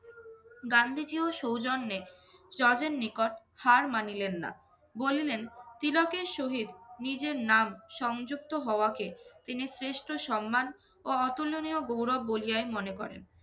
গান্ধিজীও সৌজন্যে judge এর নিকট হার মানিলেন না। বলিলেন তিলকের সহিত নিজের নাম সংযুক্ত হওয়াকে তিনি শ্রেষ্ঠ সন্মান ও অতুলনীয় গৌরব বলিয়াই মনে করেন